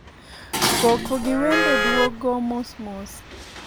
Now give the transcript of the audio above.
koko gi wende duogo mos mos